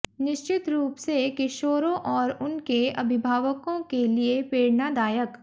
निश्चित रूप से किशोरों और उनके अभिभावकों के लिये प्रेरणादायक